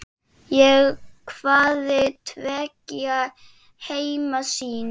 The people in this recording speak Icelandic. Ég hafði tveggja heima sýn.